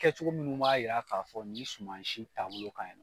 Kɛ cogo minnu b'a yira k'a fɔ ni suma si taabolo ka ɲi nɔ